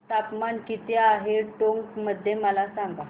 तापमान किती आहे टोंक मध्ये मला सांगा